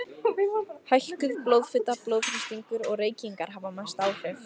Hækkuð blóðfita, blóðþrýstingur og reykingar hafa mest áhrif.